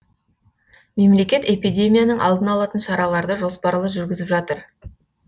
мемлекет эпидемияның алдын алатын шараларды жоспарлы жүргізіп жатыр